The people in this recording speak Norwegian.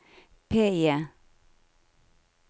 PIE